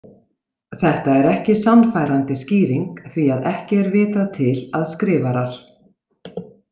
Þetta er ekki sannfærandi skýring því að ekki er vitað til að skrifarar.